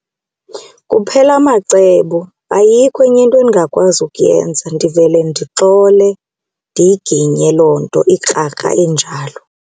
Kuphela amacebo ayikho enye into endingakwazi ukuyenza ndivele ndixole ndiyiginye loo nto ikrakra injalo.